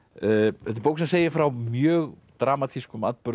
þetta er bók sem segir frá mjög dramatískum atburðum